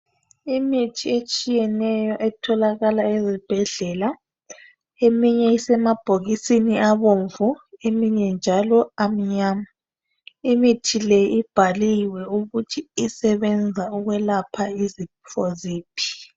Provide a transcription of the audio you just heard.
Imithi etshiyeneyo etholakala ezibhedlela. Eminye isemabhokisini abomvu eminye njalo amnyama . Imithi le ibhaliwe ukuthi isebenza ukwelapha izifo ziphi.